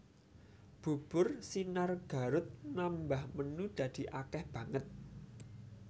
Bubur Sinar Garut nambah menu dadi akeh banget